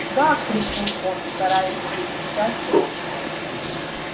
га крикнул он стараясь перекричать рёв